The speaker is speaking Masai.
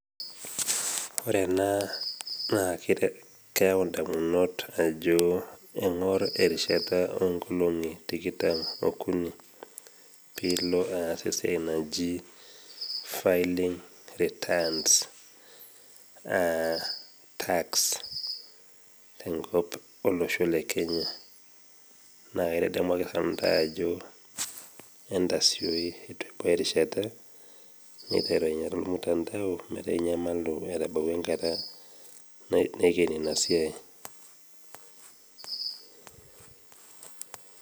Ore ena naa keyau indamunot ajo engor erishata oo nkolongi tikitam okuni piilo aas esiai naji filling returns. Tax tolosho le Kenya naa kaitadamu ake sintanu intai ajoki entasioi eitu ebau erishata pee eiterua ainyala olmutandao metaa etabautwa enkata naikeni Ina siai.